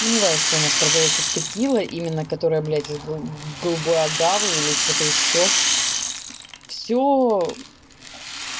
сомневаюсь что у нас продаётся текила именно которая блядь из г голубой агавы или что-то ещё всё